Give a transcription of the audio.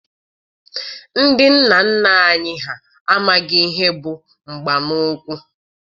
Ndị nna nna anyị ha amaghị ihe bụ mgba n'ụkwụ.